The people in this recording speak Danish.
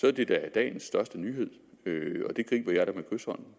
er det da dagens største nyhed